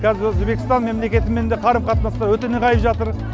қазір өзбекстан мемлекетімен де қарым қатынасымыз өте нығайып жатыр